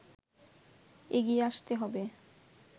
এগিয়ে আসতে হবে”